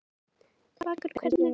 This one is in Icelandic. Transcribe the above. Vakur, hvernig er veðrið úti?